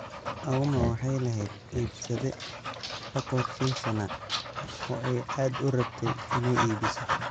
Auma waxay lahayd iibsade la qorsheysnaa oo ay aad u rabtay inay iibiso.